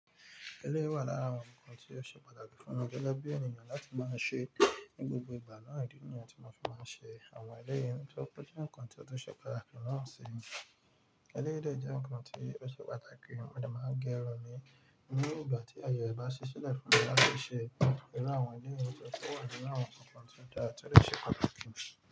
Eléyìí wà lára àwọn nǹkan tí o ṣe pàtàkì fún mi gẹ́gẹ́ bí ènìyàn láti máa ń ṣe é ní gbogbo ìgbà náà ìdí nìyẹn tí mo fi máa ń ṣe àwọn eléyìí nítorí pé ó jẹ́ nǹkan tí ó tún ṣe pàtàkì lóun sì. Eléyìí dẹ́ jẹ nǹkan tí ó ṣe pàtàkì mo dẹ̀ máa ń gé irun mí ní ìgbà tí ààye rẹ bá sí sílẹ̀ fún mí láti ṣe, iru àwọn eléyìí nítorí pé ó wà ní àwọn ọ̀tọ̀ọ̀tọ̀ tí dára tí ó ṣe pàtàkì.